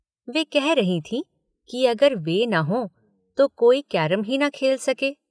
वे कह रही थीं कि अगर वे न हों तो कोई कैरम ही न खेल सके।